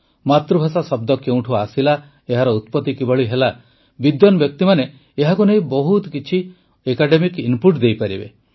ମାତୃଭାଷା ଶବ୍ଦ କେଉଁଠୁ ଆସିଲା ଏହାର ଉତ୍ପତି କିଭଳି ହେଲା ବିଦ୍ୱାନ ବ୍ୟକ୍ତିମାନେ ଏହାକୁ ନେଇ ବହୁତ କିଛି ଆକାଡେମିକ୍ ଇନପୁଟ୍ ଦେଇପାରିବେ